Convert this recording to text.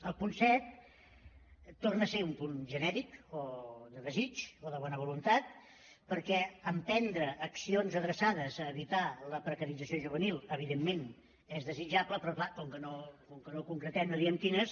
el punt set torna a ser un punt genèric o de desig o de bona voluntat perquè emprendre accions adreçades a evitar la precarització juvenil evidentment és desitjable però clar com que no ho concretem no diem quines